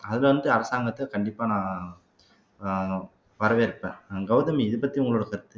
அது வந்து அரசாங்கத்துக்கு கண்டிப்பா நான் அஹ் வரவேற்பேன் கெளதமி இதைப்பத்தி உங்களோட கருத்து